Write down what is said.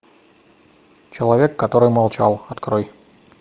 человек который молчал открой